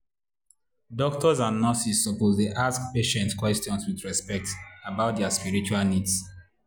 doctors and nurses suppose dey ask patients question with respect about their spiritual needs.